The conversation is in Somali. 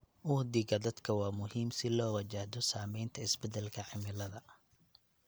Uhdhigga dadka waa muhiim si loo wajahdo saamaynta isbedelka cimilada.